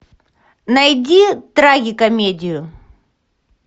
найди трагикомедию